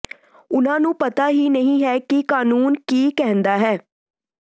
ਉਨ੍ਹਾਂ ਨੂੰ ਪਤਾ ਹੀ ਨਹੀਂ ਹੈ ਕਿ ਕਾਨੂੰਨ ਕੀ ਕਹਿੰਦਾ ਹੈ